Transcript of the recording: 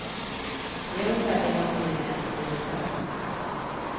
Det är ungefär det man hinner med under julen.